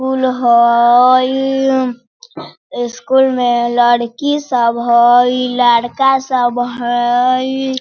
फूल होययय स्कूल में लड़की सब होय लड़का सब हय।